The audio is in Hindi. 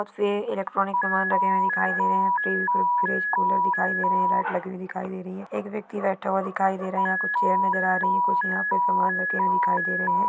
यहाँ पे इलेक्ट्रोनिक सामान रखे हुए दिखाई दे रहे है फ्रीज कूलर दिखाई दे रहे है लाइट लगी हुई दिखाई दे रही है एक व्यक्ति बैठा हुआ दिखाई दे रहा है यहाँ कुछ चेअर नजर आ रही है कुछ यहाँ पे सामान रखे हुए दिखाई दे रहे है।